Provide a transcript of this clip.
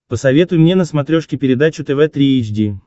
посоветуй мне на смотрешке передачу тв три эйч ди